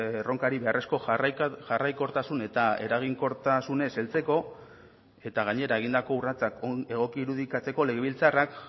erronkari beharrezko jarraikortasun eta eraginkortasunez heltzeko eta gainera egindako urratsak egoki irudikatzeko legebiltzarrak